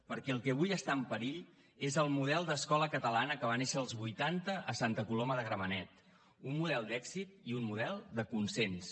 perquè el que avui està en perill és el model d’escola catalana que va néixer als vuitanta a santa coloma de gramenet un model d’èxit i un model de consens